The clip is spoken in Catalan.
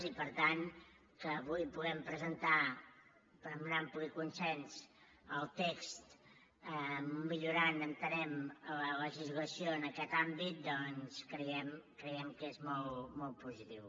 i per tant que avui puguem presentar amb un ampli consens el text millorant entenem la legislació en aquest àmbit doncs creiem que és molt positiu